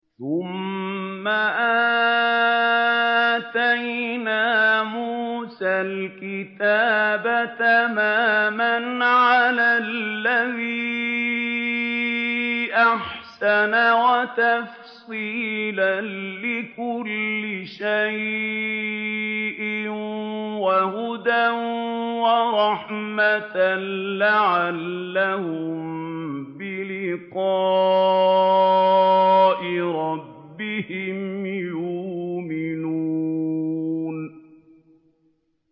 ثُمَّ آتَيْنَا مُوسَى الْكِتَابَ تَمَامًا عَلَى الَّذِي أَحْسَنَ وَتَفْصِيلًا لِّكُلِّ شَيْءٍ وَهُدًى وَرَحْمَةً لَّعَلَّهُم بِلِقَاءِ رَبِّهِمْ يُؤْمِنُونَ